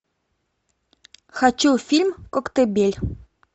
хочу фильм коктебель